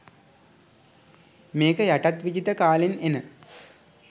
මේක යටත් විජිත කාලෙන් එන